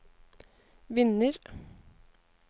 vinner